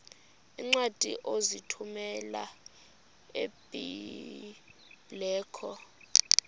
iincwadi ozithumela ebiblecor